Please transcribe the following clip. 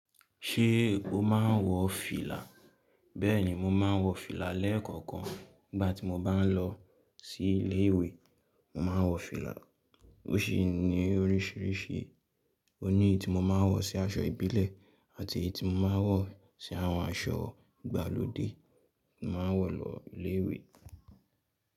Ṣé o máa ń wọ fìlà? Bee ni mo maa wo file leekookan nigba ti mo ba lo si ile iwe. Mo máa ń wọ fìlà, ó sì ní oríṣiríṣi. Ó ní èyí tí mo máa ń wọ sí aṣọ ìbílẹ̀ àti èyí tí mo máa ń wọ sí àwọn aṣọ. Ìgbàlódé tí mo máa ń wọ lọ ilé ìwé.